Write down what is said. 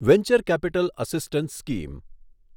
venture capital assistance scheme